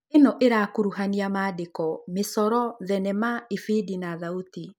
Ĩno ĩrakuruhania maandĩko, mĩcoro, thenema, ibidi kana thauti